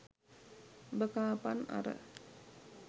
උඹ කාපන් අර